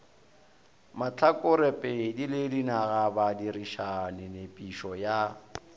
mahlakorepedi le dinagabadirišani nepišo ya